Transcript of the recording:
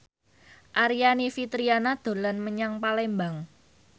Aryani Fitriana dolan menyang Palembang